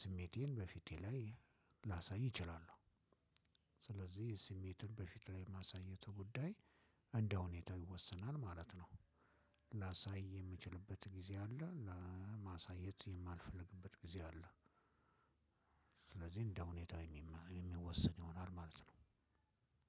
ስሜቴን በፊቴ ላይ ላሳይ እችላለው። ስለዚህ ስሜትን በፊት ላይ የማሳየቱ ጉዳይ እንደሁኔታው ይወሰናል ማለት ነው። ላሳይ የምችልበት ጊዜ አለ ለማሳየት የማልፈለግበት ጊዜ አለ። ስለዚህ እንደ ሁኔታው የሚወሰን ይሆናል ማለት ነው።